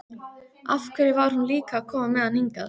Af hverju var hún líka að koma með hann hingað?